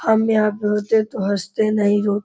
हम यहाँ पे होते तो हस्ते नहीं रो --